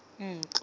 ntlo